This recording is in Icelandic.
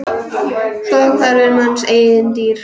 Svo hverfur manns eigin dýrð.